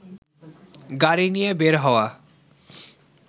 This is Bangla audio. গাড়ি নিয়ে বের হওয়া